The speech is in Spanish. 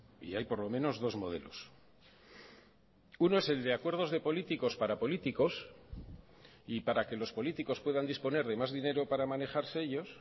y hay por lo menos dos modelos uno es el de acuerdos de políticos para políticos y para que los políticos puedan disponer de más dinero para manejarse ellos